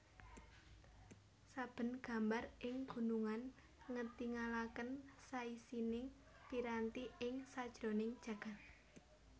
Saben gambar ing gunungan ngetingalaken saisining piranti ing sajroning jagad